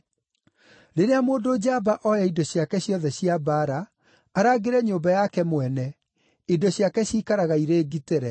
“Rĩrĩa mũndũ njamba oya indo ciake ciothe cia mbaara, arangĩre nyũmba yake mwene, indo ciake ciikaraga irĩ ngitĩre.